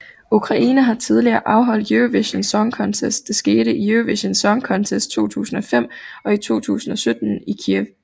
Ukraine har tidligere afholdt Eurovision Song Contest det skete i Eurovision Song Contest 2005 og i 2017 i Kyiv